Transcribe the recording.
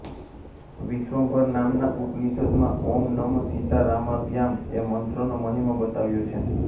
વિશ્વંભર નામના ઉપનિષદમાં ૐ નમ સીતારામાભ્યામ્ એ મંત્રનો મહિમા બતાવ્યો છે